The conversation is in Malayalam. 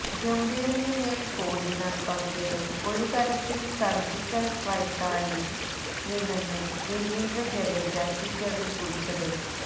ഗംഭീറിനു മേല് കോഹ്ലി നടപ്പാക്കിയത് ഒരു തരത്തില് സര്ജിക്കല് സ്െ്രെടക്കായിരുന്നെന്നാണു രവീന്ദ്ര ജഡേജ ട്വിറ്ററില് കുറിച്ചത്